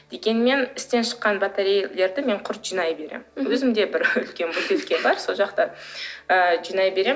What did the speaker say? дегенмен істен шаққан батарейлерді мен құр жинай беремін мхм өзімде бір үлкен бөтелке бар сол жақта ы жинай беремін